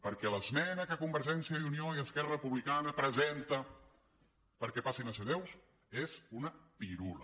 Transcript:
perquè l’esmena que convergència i unió i esquerra republicana presenten perquè passin a ser deu és una pirula